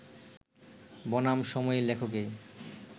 বনাম সময় লেখকেই